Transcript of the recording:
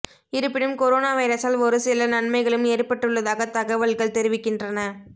இருப்பினும் கொரோனா வைரசால் ஒரு சில நன்மைகளும் ஏற்பட்டுள்ளதாக தகவல்கள் தெரிவிக்கின்றன